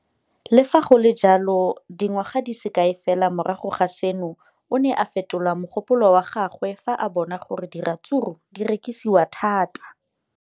Le fa go le jalo, dingwaga di se kae fela morago ga seno, o ne a fetola mogopolo wa gagwe fa a bona gore diratsuru di rekisiwa thata.